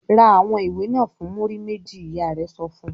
"Ra àwọn ìwé náà fún múrí méjì!" Ìyá rẹ̀ sọ fún un.